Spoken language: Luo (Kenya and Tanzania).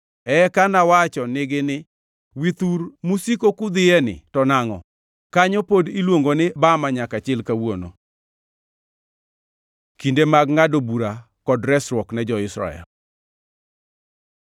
Eka nawacho nigi ni: Withur musiko kudhiye ni to nangʼo?’ ” Kanyo pod iluongo ni Bama nyaka chil kawuono. Kinde mar ngʼado bura kod resruok ne jo-Israel